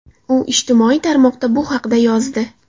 U ijtimoiy tarmoqda bu haqda yozdi.